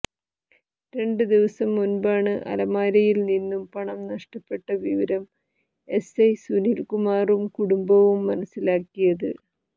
രണ്ട് ദിവസം മുൻപാണ് അലമാരയിൽ നിന്നും പണം നഷ്ടപ്പെട്ട വിവരം എസ്ഐ സുനിൽ കുമാറും കുടുംബവും മനസ്സിലാക്കിയത്